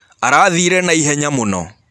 Arathĩre naĩhenya mũno.